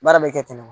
Baara bɛ kɛ ten de wa